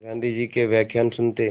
गाँधी जी के व्याख्यान सुनते